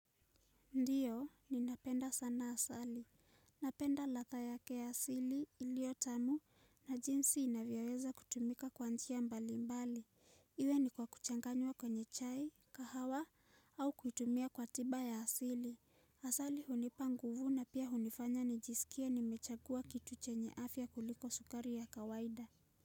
Ndiyo, ninapenda sana asali. Napenda ladha yake ya asili iliyo tamu na jinsi inavyoweza kutumika kwa njia mbalimbali. Iwe ni kwa kuchanganywa kwenye chai, kahawa au kutumia kwa tiba ya asili. Asali hunipa nguvu na pia hunifanya nijisikie nimechagua kitu chenye afya kuliko sukari ya kawaida.